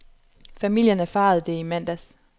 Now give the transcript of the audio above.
Familien erfarede det i mandags.